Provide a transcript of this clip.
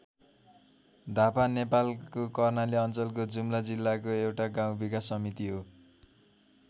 धापा नेपालको कर्णाली अञ्चलको जुम्ला जिल्लाको एउटा गाउँ विकास समिति हो।